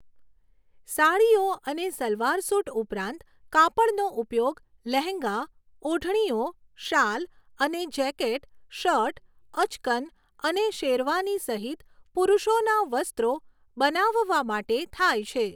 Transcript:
સાડીઓ અને સલવાર સૂટ ઉપરાંત, કાપડનો ઉપયોગ લહેંગા, ઓઢણીઓ, શાલ અને જેકેટ, શર્ટ, અચકન અને શેરવાની સહિત પુરુષોના વસ્ત્રો બનાવવા માટે થાય છે.